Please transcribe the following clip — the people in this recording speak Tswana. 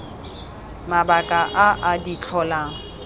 mabaka a a di tlholang